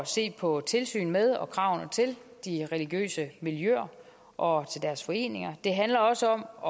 se på tilsynet med og kravene til de religiøse miljøer og til deres foreninger det handler også om at